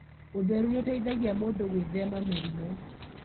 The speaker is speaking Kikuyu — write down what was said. Ũtheru nĩ ũteithagia mũndũ gwĩthema mĩrimũ.